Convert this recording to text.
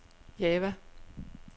Java